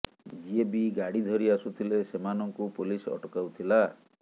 ଯିଏ ବି ଗାଡ଼ି ଧରି ଆସୁଥିଲେ ସେମାନଙ୍କୁ ପୋଲିସ ଅଟକାଉଥିଲା